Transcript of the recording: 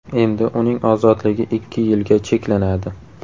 Endi uning ozodligi ikki yilga cheklanadi.